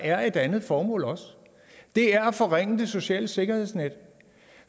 er et andet formål og det er at forringe det sociale sikkerhedsnet